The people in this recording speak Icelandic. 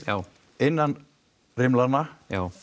innan rimlanna